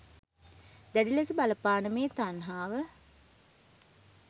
දැඩි ලෙස බලපාන මේ තණ්හාව